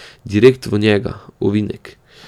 Direkt v njega, v ovinek.